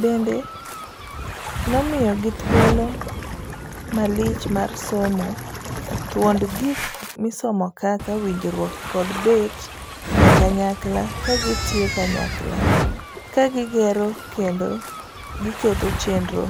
Bende nomiyigi thuolo malich mar somo thuond gik misomokaka winjruok kod bet e kanyakla ka gitiyo kanyakla. kagigero kendo giketo chenro